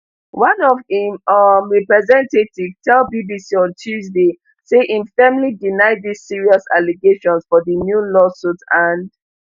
one of im um representative tell bbc on tuesday say im firmly deny dis serious allegations for di new lawsuit and